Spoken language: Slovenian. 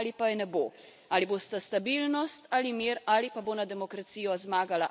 Ali bosta stabilnost ali mir ali pa bo nad demokracijo zmagala avtoritarnost.